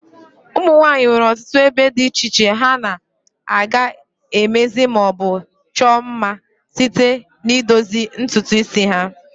Ụmụnwanyi nwere ọtụtụ ebe di iche iche ha na/aga emezi ma o bu chuo mma site n'idozi ntutu isi ha.